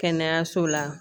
Kɛnɛyaso la